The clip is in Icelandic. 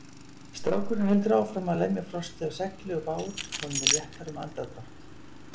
Strákurinn heldur áfram að lemja frostið af segli og bát, honum er léttara um andardrátt.